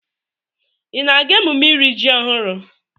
Ị na-aga emume iri ji ọhụrụ?